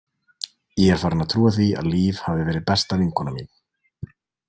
Ég er farin að trúa því að Líf hafi verið besta vinkona mín.